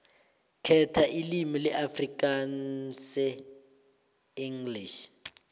khetha ilimi afrikaansenglish